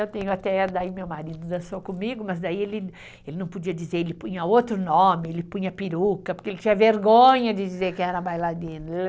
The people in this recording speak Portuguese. Eu tenho até... Daí meu marido dançou comigo, mas daí ele não podia dizer, ele punha outro nome, ele punha peruca, porque ele tinha vergonha de dizer que era bailarino.